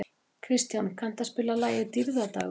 Kristján, kanntu að spila lagið „Dýrðardagur“?